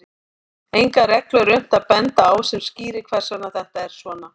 Enga reglu er unnt að benda á sem skýrir hvers vegna þetta er svona.